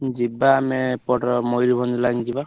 ଯିବା ଆମେ ଏପଟର ମୟୂରଭଞ୍ଜ line ଯିବା।